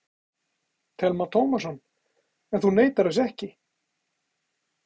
Telma Tómasson: En þú neitar þessu ekki?